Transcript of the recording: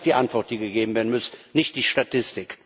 Das ist die Antwort, die gegeben werden muss, nicht die Statistik.